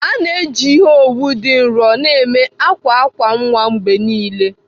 A na-eji ihe owu dị nro na-eme akwa akwa nwa mgbe niile.